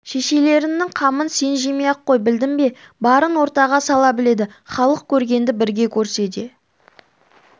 шешелерімнің қамын сен жемей-ақ қой білдің бе барын ортаға сала біледі халық көргенді бірге көрсе де